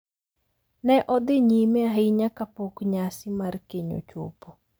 Ne odhi nyime ahinya kapok nyasi mar keny ochopo.